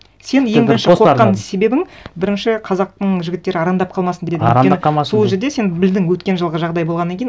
сен ең бірінші қорыққан себебің бірінші қазақтың жігіттері арандап қалмасын дедің арандап қалмасын өйткені сол жерде сен білдің өткен жылғы жағдай болғаннан кейін